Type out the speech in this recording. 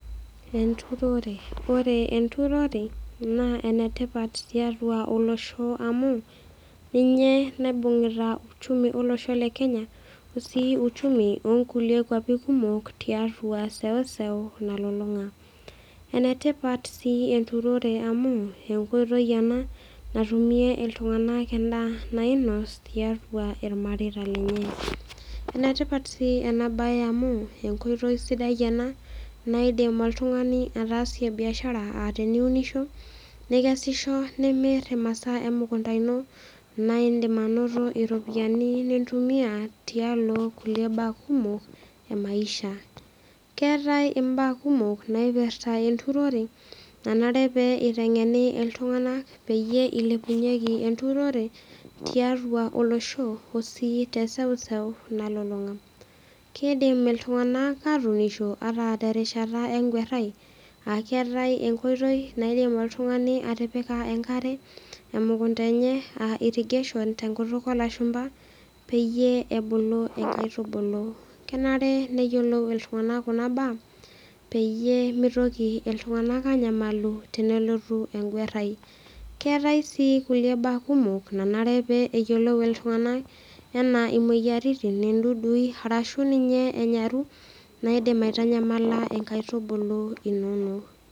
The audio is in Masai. Enturore ore enturore naa enetipat tiatua olosho amu ninye naibungieta uchumi olosho le Kenya osii uchumi oo nkulie kwapie kumok tiatua sewuseu nalulung'a enetipat sii enturoro amu enkoitoi ena natumie iltung'ana endaa nainos tiatua irmareita lenye enetipat sii ena mbae amu enkoitoi ena naidim iltung'ani atasie biashara aa teniunisho nikisishi nimir emasaa emukunda eno naidim anoto eropiani nintumia tialo mbaa kumok ee maisha keetae mbaa kumok naipirta enturore nanare pee eiteng'eni iltung'ana peeyie eilepunyeki enturore tiatua olosho osi te seuseu nalulung'a kindim iltung'ana atunisho ata tenkata eguarai aa keetae enkoitoi naidim oltung'ani atipika enkare emukunda enye aa irrigation tenkutuk olashumba pee ebulu nkaitubulu kenare neyiolou iltung'ana Kuna mbaa pee mitoki iltung'ana anyamalu tenelotu eguarai keetae sii kulie mbaa kumok nanare pee eyiolou iltung'ana ena moyiaritin dudui arashu ninye enyaru naidim aitamyamala enkaitubulu enono